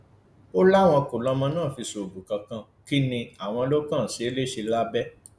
ó láwọn kò lọmọ náà fi ṣoògùn kankan kínní àwọn ló kàn ṣe é léṣe lábẹ